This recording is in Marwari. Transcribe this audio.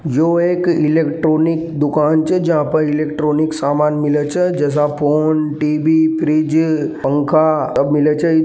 यह एक इलेक्ट्रॉनिक दुकान छे जहां पर जहां पर इलेक्ट्रॉनिक सामान मिले छे जैसा फोन टी_वी फ्रिज पंखा और मिले छे।